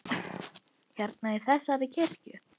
Hérna, í þessari kirkju?